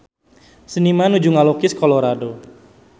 Seniman nuju ngalukis Colorado